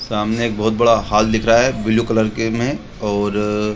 सामने एक बहुत बड़ा हॉल दिखा रहा है ब्लू कलर के में और --